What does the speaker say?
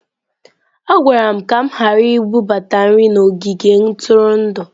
A gwara m ka m ghara ibubata nri n'ogige ntụrụndụ